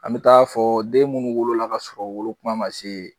An bi taa fɔ den munnu wolo la ka sɔrɔ u wolo kuma ma se.